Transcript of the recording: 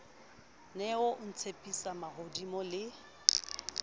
ne o ntshepisa mahodimo le